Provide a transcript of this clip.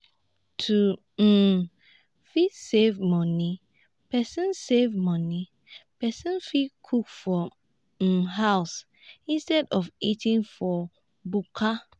to um fit save money person save money person fit cook for um house instead of eating for bukka